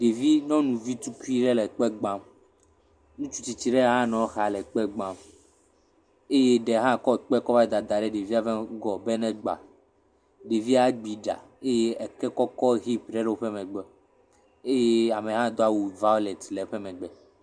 Ɖevi nyɔnuvi tukui ɖe le kpe gbam. Ŋutsu tsitsi ɖe hã nɔ exa le ekpe gbam eye ɖe hã kɔ ekpe le dadam ɖe ɖevia ƒe ŋgɔ be negba. Ɖevia ɖi ɖa eye eke kɔkɔ hip ɖe le woƒe megbe. Eye amea do awu valeti le eƒe megbe.